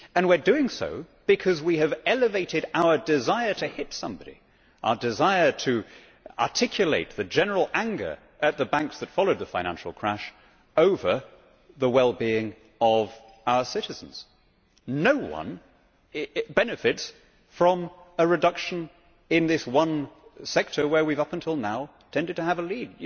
We are doing so because we have elevated our desire to hit somebody our desire to articulate the general anger at the banks that followed the financial crash over the well being of our citizens. No one benefits from a reduction in this one sector where up until till now we tended to have a lead.